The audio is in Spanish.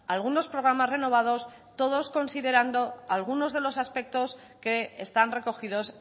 algunos programas renovados todos considerando algunos de los aspectos que están recogidos